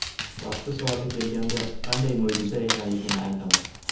Vaqti soati kelganda qanday mo‘jiza ekanligini aytaman.